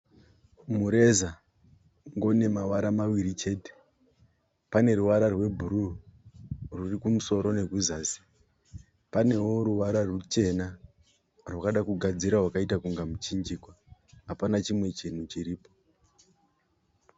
Mureza ungori nemavara maviri chete. Pane ruvara rwebhuruu ruri kumusoro nekuzasi. Panewo ruvara ruchena rwakada kugadzira rwaita kunga muchinjikwa. Apana chimwe chinhu chiripo.